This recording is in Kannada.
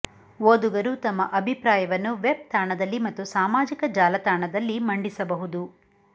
ಓದುಗರು ತಮ್ಮ ಅಭಿಪ್ರಾಯವನ್ನು ವೆಬ್ ತಾಣದಲ್ಲಿ ಮತ್ತು ಸಾಮಾಜಿಕ ಜಾಲತಾಣದಲ್ಲಿ ಮಂಡಿಸಬಹುದು